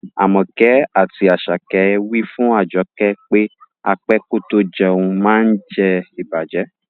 Amoke ati Asake wi fun Ajoke pe á pẹ kò tó jẹ̀un maá ǹ jẹ̀ ìbàjẹ́.